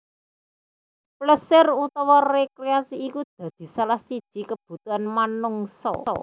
Plesir utawa rekreasi iku dadi salah siji kebutuhan menungsa